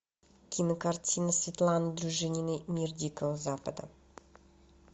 кинокартина светланы дружининой мир дикого запада